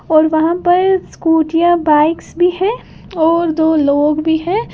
और वहां पर स्कूटीयां बाइक्स भी है और दो लोग भी है।